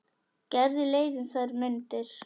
Gerði leið um þær mundir.